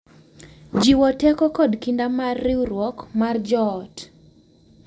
Jiwo teko kod kinda mar riwruok mar joot.